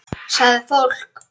Sagði fólk.